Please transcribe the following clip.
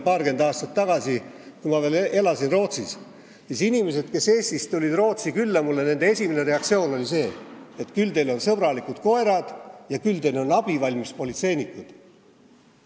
Paarkümmend aastat tagasi, kui ma veel elasin Rootsis, siis inimestel, kes tulid Eestist mulle Rootsi külla, oli esimene reaktsioon see, et küll siin on sõbralikud koerad ja küll siin on abivalmis politseinikud.